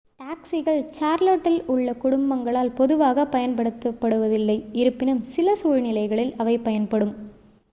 டாக்சிகள் சார்லோட்டில் உள்ள குடும்பங்களால் பொதுவாகப் பயன்படுத்தப்படுவதில்லை இருப்பினும் சில சூழ்நிலைகளில் அவை பயன்படும்